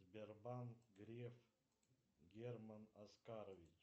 сбербанк греф герман оскарович